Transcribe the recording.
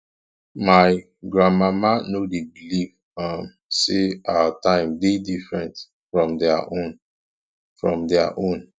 my grandmama no dey believe um sey our time dey different from their own from their own